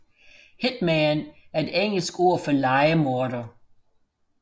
Hitman er et engelsk ord for lejemorder